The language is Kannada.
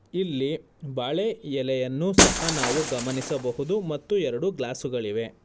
ಇಲ್ಲಿ ಬಾಳೆ ಎಲೆಯನ್ನು ಸಹ ನಾವು ಗಮನಿಸಬಹುದು ಮತ್ತು ಎರಡು ಗ್ಲಾಸ್ ಗಳಿವೆ.